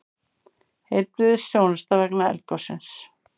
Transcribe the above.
Heilbrigðisþjónusta vegna eldgossins